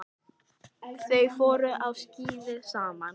Þau fóru á skíði saman.